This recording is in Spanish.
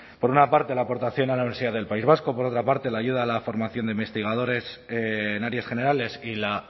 por una parte la aportación a la universidad del país vasco por otra parte la ayuda a la formación de investigadores en áreas generales y la